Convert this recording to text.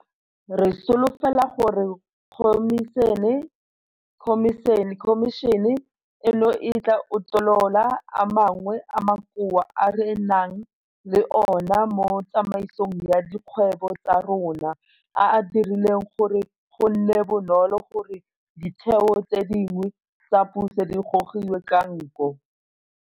Re solofela gore khomišene eno e tla utolola a mangwe a makoa a re nang le ona mo tsamaisong ya dikgwebo tsa rona a a dirileng gore go nne bonolo gore ditheo tse dingwe tsa puso di gogiwe ka nko.